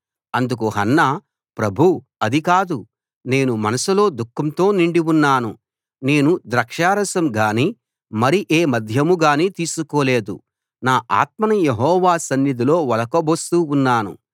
అందుకు హన్నా ప్రభూ అది కాదు నేను మనసులో దుఃఖంతో నిండి ఉన్నాను నేను ద్రాక్షరసం గానీ మరి ఏ మద్యం గానీ తీసుకోలేదు నా ఆత్మను యెహోవా సన్నిధిలో ఒలకబోస్తూ ఉన్నాను